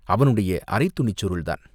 அவனுடைய அரைத் துணிச் சுருள்தான்!